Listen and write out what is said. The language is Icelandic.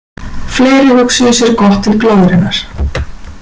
Fleiri hugsuðu sér gott til glóðarinnar.